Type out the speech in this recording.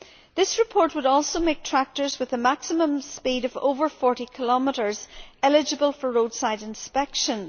This report would also make tractors with a maximum speed of over 40 km h eligible for roadside inspections.